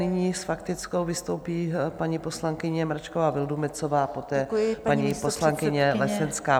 Nyní s faktickou vystoupí paní poslankyně Mračková Vildumetzová a poté paní poslankyně Lesenská.